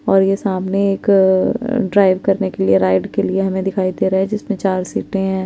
और ये सामने एक ड्राइव करने के लिए राइड के लिए हमे दिखाई दे रहा है जिसमे चार सीटें हैं ।